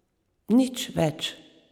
Nič več.